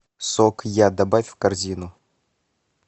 сок я добавь в корзину